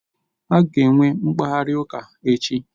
Ha ga-enwe mkparịta ụka echi